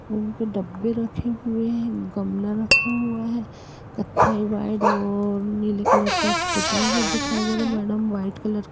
डब्बे रखे हुए हैं। गमला रखा हुआ है। कत्थई वाइड और नीले कलर का पूता हुआ दिखाई दे रहा है। Madam white colour --